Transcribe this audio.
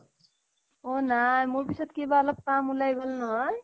অ নাই মোৰ পিছত কিবা অলপ কাম ওলাই গল নহয়